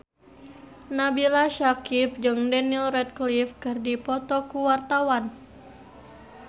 Nabila Syakieb jeung Daniel Radcliffe keur dipoto ku wartawan